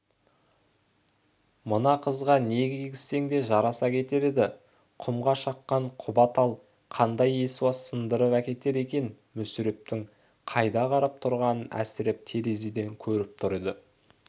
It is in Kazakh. мына қызға не кигізсең де жараса кетер еді құмға шыққан құба тал қандай есуас сындырып әкетер екен мүсірептің қайда қарап тұрғанын әсіреп терезеден көріп тұр еді